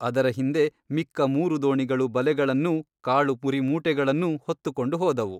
ಅದರ ಹಿಂದೆ ಮಿಕ್ಕ ಮೂರು ದೋಣಿಗಳು ಬಲೆಗಳನ್ನೂ ಕಾಳು ಪುರಿಮೂಟೆಗಳನ್ನೂ ಹೊತ್ತುಕೊಂಡು ಹೋದವು.